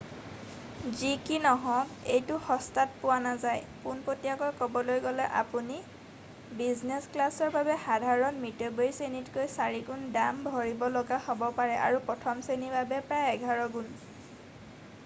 যি কি নহওক এইটো সস্তাত পোৱা নাযায় পোনপটীয়াকৈ ক'বলৈ গ'লে আপুনি বিজনেছ ক্লাছৰ বাবে সাধাৰণ মিতব্যয়ীশ্ৰেণীতকৈ চাৰিগুণ দাম ভৰিব লগীয়া হ'ব পাৰে আৰু প্ৰথম শ্ৰেণীৰ বাবে প্ৰায় এঘাৰ গুণ